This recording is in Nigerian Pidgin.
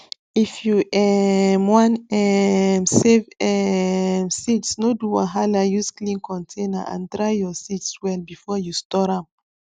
if you um wan um save um seeds no do wahala use clean container and dry your seeds well before you store am